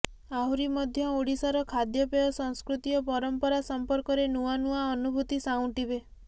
ଆହୁରି ମଧ୍ୟ ଓଡ଼ିଶାର ଖାଦ୍ୟପେୟ ସଂସ୍କୃତି ଓ ପରମ୍ପରା ସମ୍ପର୍କରେ ନୂଆ ନୂଆ ଅନୁଭୂତି ସାଉଁଟିବେ